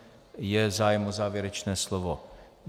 Je zájem o závěrečné slovo?